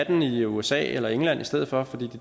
den i usa eller england i stedet for fordi